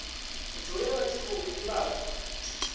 dzule vha tshi khou divhadza